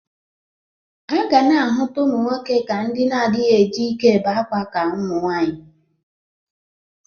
A ga na-ahụta ụmụ nwoke ka ndị na-adịghị eji ike ebe akwa ka ụmụnwaanyị.